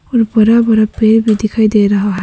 और बड़ा बड़ा पेड़ भी दिखाई दे रहा है।